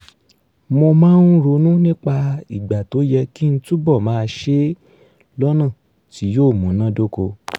mo máa ń ronú nípa ìgbà tó yẹ kí n túbọ̀ máa ṣe é lọ́nà tí yóò múnádóko